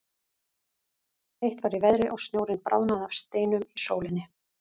Heitt var í veðri og snjórinn bráðnaði af steinum í sólinni.